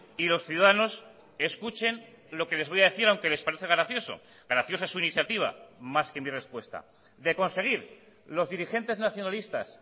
y los ciudadanos escuchen lo que les voy a decir aunque les parece gracioso graciosa su iniciativa más que mi respuesta de conseguir los dirigentes nacionalistas